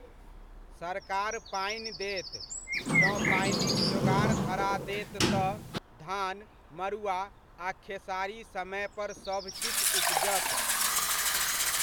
सरकार पानि देत, जँ पानिक जोगाड़ धरा देत तऽ धान, मड़ुआ आ खेसारी समयपर सभकिछु उपजत।